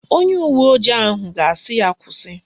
Onye uwe ojii ahụ ga-asị ya kwụsị